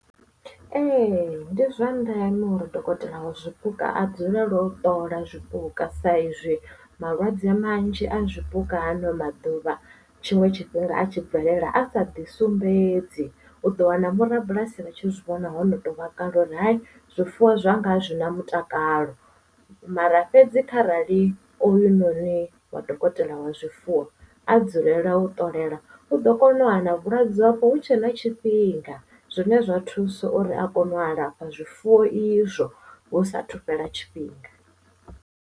Ee ndi zwa ndeme uri dokotela wa zwipuka a dzulele u ṱola zwipuka sa izwi malwadze manzhi a zwipuka hano maḓuvha tshiṅwe tshifhinga a tshi bvelela a sa ḓi sumbedzi u ḓo wana vho rabulasi ri tshi zwi vhona ho no to vhakale uri zwifuwo zwanga azwi na mutakalo mara fhedzi kharali oyu noni wa dokotela wa zwifuwo a dzulela u ṱolela u ḓo kona u wana vhulwadze ovho hu tshe na tshifhinga zwine zwa thusa uri a kone u alafha zwifuwo izwo hu sa thu fhela tshifhinga.